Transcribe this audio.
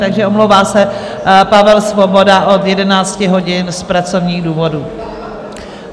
Takže omlouvá se Pavel Svoboda od 11 hodin z pracovních důvodů.